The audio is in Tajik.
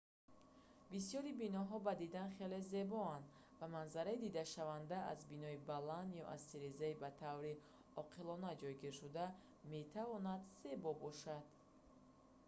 бисёри биноҳо ба дидан хеле зебоанд ва манзараи дидашаванда аз бинои баланд ё аз тирезаи ба таври оқилона ҷойгиршуда метавонад зебоӣ бошад